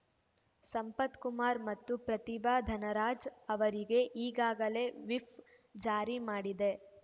ಸಂಪತ್‌ ಕುಮಾರ್‌ ಮತ್ತು ಪ್ರತಿಭಾ ಧನರಾಜ್‌ ಅವರಿಗೆ ಈಗಾಗಲೇ ವಿಪ್‌ ಜಾರಿ ಮಾಡಿದೆ